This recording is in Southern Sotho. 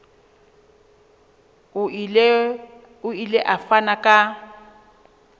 o ile a fana ka